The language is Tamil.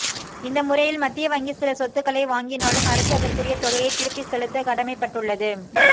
இந்த முறையில் மத்திய வங்கி சில சொத்துக்களை வாங்கினாலும் அரசு அதற்குரிய தொகையை திருப்பிச் செலுத்தக் கடமை பட்டுள்ளது